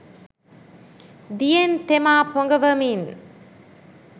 දියෙන් තෙමා පොඟවමින්